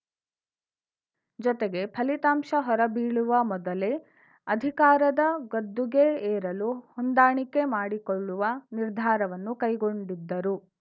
ಜೊತೆಗೆ ಫಲಿತಾಂಶ ಹೊರಬೀಳುವ ಮೊದಲೇ ಅಧಿಕಾರದ ಗದ್ದುಗೆ ಏರಲು ಹೊಂದಾಣಿಕೆ ಮಾಡಿಕೊಳ್ಳುವ ನಿರ್ಧಾರವನ್ನೂ ಕೈಗೊಂಡಿದ್ದರು